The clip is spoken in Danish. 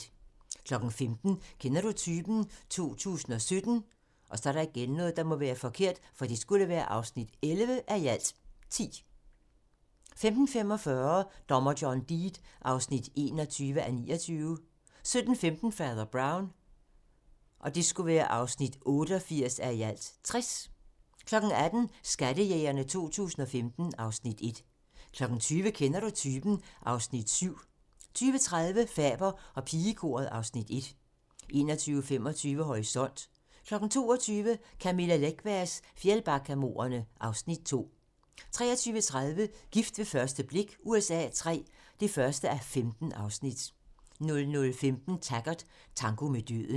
15:00: Kender du typen? 2017 (11:10) 15:45: Dommer John Deed (21:29) 17:15: Fader Brown (88:60) 18:00: Skattejægerne 2015 (Afs. 1) 20:00: Kender du typen? (Afs. 7) 20:30: Faber og pigekoret (Afs. 1) 21:25: Horisont (tir) 22:00: Camilla Läckbergs Fjällbackamordene (Afs. 2) 23:30: Gift ved første blik USA III (1:15) 00:15: Taggart: Tango med døden